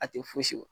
A tɛ fosi bɔ